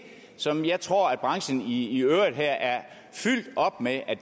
som jeg tror at branchen i øvrigt er fyldt op med at